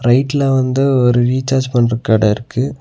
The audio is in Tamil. வீட்ல வந்து ஒரு ரீசார்ஜ் பண்ற கட இருக்கு.